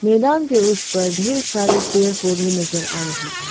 मैदान के उस पर ढेर सारे पेड़ पौधे नजर आ रही हैं।